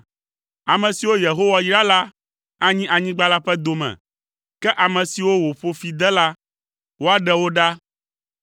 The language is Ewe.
Ame siwo Yehowa yra la anyi anyigba la ƒe dome, ke ame siwo wòƒo fi de la, woaɖe wo ɖa.